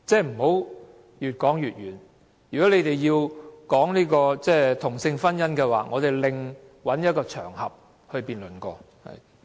不要越說越遠，如果建制派議員要討論同性婚姻合法化，我們另覓一個場合辯論。